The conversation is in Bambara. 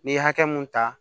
N'i ye hakɛ mun ta